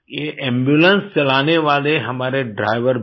ये एम्बुलेंस चलाने वाले हमारे ड्राइवर भी